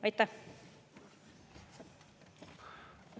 Aitäh!